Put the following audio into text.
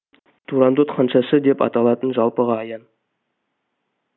турандот ханшасы деп аталатыны жалпыға аян